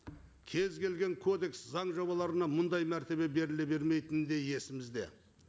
кез келген кодекс заң жобаларына мындай мәртебе беріле берметіні де есімізде